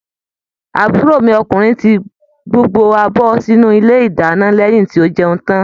Àbúrò mi ọkùnrin tí gbogbo abọ sínú ilé ìdáná lẹyìn tó jẹun tán.